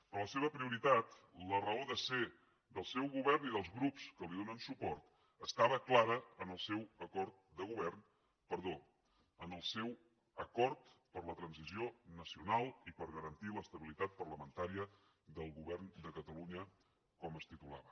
però la seva prioritat la raó de ser del seu govern i dels grups que li donen suport estava clara en el seu acord per a la transició nacional i per a garantir l’estabilitat parlamentària del govern de catalunya com es titulava